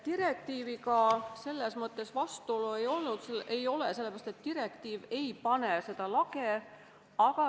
Direktiiviga selles mõttes vastuolu ei ole, et direktiiv ei pane paika lage.